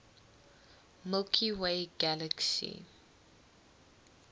milky way galaxy